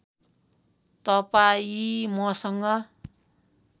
तपाईँ मसँग